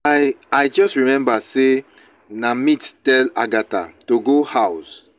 i i just remember say na meet tell agatha to go house